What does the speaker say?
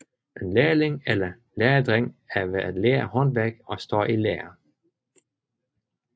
En lærling eller læredreng er ved at lære et håndværk og står i lære